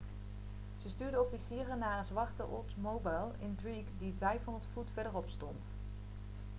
ze stuurde officieren naar haar zwarte oldsmobile intrigue die 500 voet verderop stond